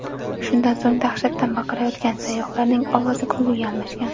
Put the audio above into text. Shundan so‘ng dahshatdan baqirayotgan sayyohlarning ovozi kulguga almashgan.